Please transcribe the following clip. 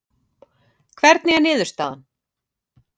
Hvernig er niðurstaðan?